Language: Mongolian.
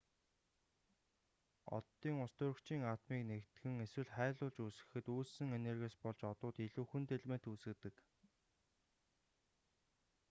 оддын устөрөгчийн атомыг нэгтгэн эсвэл хайлуулж үүсгэхэд үүссэн энергиээс болж одууд илүү хүнд элемент үүсгэдэг